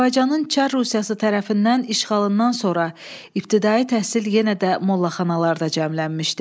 Azərbaycanın Çar Rusiyası tərəfindən işğalından sonra ibtidai təhsil yenə də mollaxanalarda cəmlənmişdi.